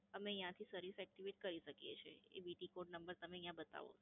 અમે અહીયાં થી service activate કરી શકીએ છે. એ BT code તમે અહીયાં બતાવો